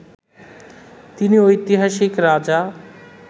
তিনি ঐতিহাসিক রাজা